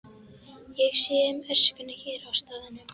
Ég sé um öskuna hér á staðnum.